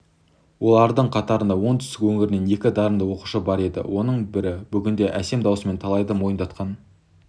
олардың қатарында оңтүстік өңірінен екі дарынды оқушы бар еді оның бірі бүгінде әсем даусымен талайды мойындатқан